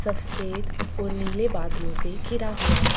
सफेद और नीले बादलो से घिरा हुआ है।